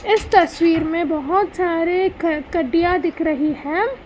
इस तस्वीर में बहोत सारे दिख रही है।